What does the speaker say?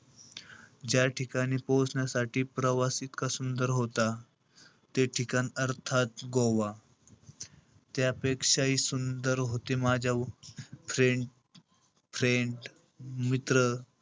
ज्या ठिकाणी पोहोचण्यासाठी प्रवास इतका सुंदर होता. ते ठिकाण अर्थात गोवा. त्यापेक्षाही सुंदर होते माझ्या friend-friend मित्र,